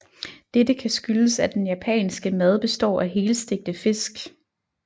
Dette kan skyldes at den japanske mad består af helstegte fisk